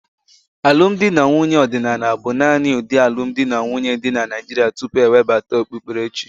Alụmdi na nwunye ọdịnala bụ naanị ụdị alụmdi na nwunye dị na Naịjirịa tupu e webata okpukperechi.